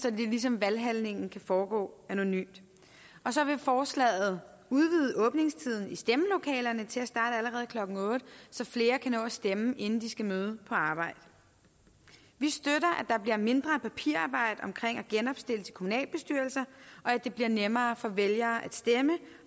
at det ligesom valghandlingen kan foregå anonymt og så vil forslaget udvide åbningstiden i stemmelokalerne til at allerede klokken otte så flere kan nå at stemme inden de skal møde på arbejde vi støtter der bliver mindre papirarbejde omkring at genopstille til kommunalbestyrelser og at det bliver nemmere for vælgere at stemme